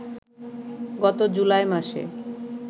গত জুলাই মাসে